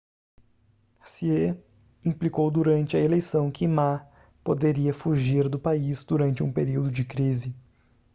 hsieh implicou durante a eleição que ma poderia fugir do país durante um período de crise